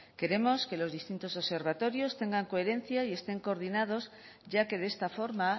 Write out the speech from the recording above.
queremos que los distintos observatorios tengan coherencia y estén coordinados ya que de esta forma